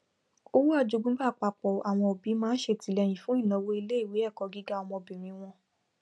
owó ajogúnbá àpapọ àwọn òbí máa ṣètìlẹyìn fún ìnáwó iléìwé ẹkọ gíga ọmọbìrin wọn